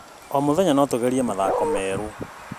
O mũthenya, no tũgerie mathako merũ.